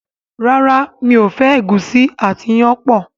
ràrá mi'o fẹ egusi àti iyán pọ.